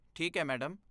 ਠੀਕ ਹੈ ਮੈਡਮ।